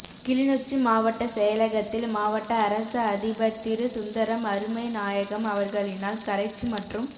கிளிநொச்சி மாவட்ட செயலகத்தில் மாவட்ட அரச அதிபர் திரு சுந்தரம் அருமைநாயகம் அவர்களினால் கரைச்சி மற்றும்